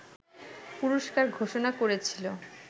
পুরস্কার ঘোষণা করেছিল